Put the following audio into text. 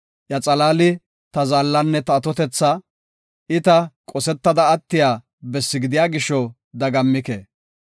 Iya xalaali ta zaallanne ta atotetha; I ta qosetiya attiya bessi gidiya gisho dagammike.